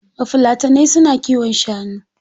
Bafulatanai su na kiwon shanu.